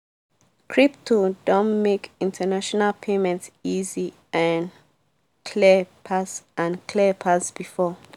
crypto don make international payment easy and clear pass and clear pass before.